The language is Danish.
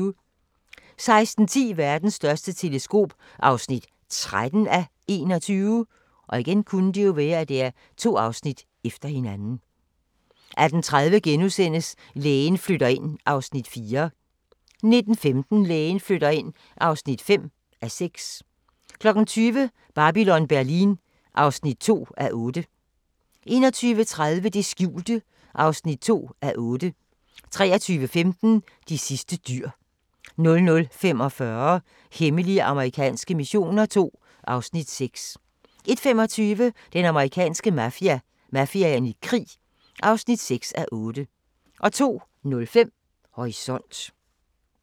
16:10: Verdens største teleskop (13:21) 18:30: Lægen flytter ind (4:6)* 19:15: Lægen flytter ind (5:6) 20:00: Babylon Berlin (2:8) 21:30: Det skjulte (2:8) 23:15: De sidste dyr 00:45: Hemmelige amerikanske missioner II (Afs. 6) 01:25: Den amerikanske mafia: Mafiaen i krig (6:8) 02:05: Horisont